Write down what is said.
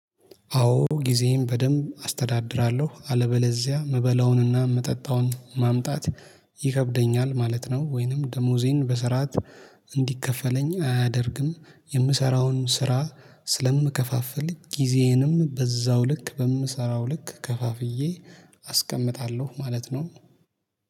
አዎ ጊዜዬን በደንብ አስተዳድራለሁ አለበለዚያ መበላውንና ምጠጣውን ማምጣት ይከብደኛል ማለት ነው። ወይንም ደሞዜን በስርዓት እንዲከፈለኝ አያደርግም። የምሰራውን ስራ ስለምከፋፍል ጊዜዬንም በዛው ልክ በምሰራው ልክ ከፋፍዬ አስቀምጣለሁ ማለት ነው